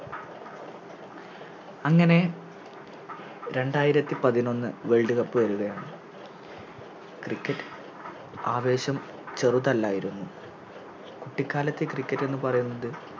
അങ്ങനെ രണ്ടായിരത്തി പതിനൊന്ന് World cup വരുകയാണ് Cricket ആവേശം ചെറുതല്ലായിരുന്നു കുട്ടിക്കാലത്തെ Cricket എന്നുപറയുന്നത്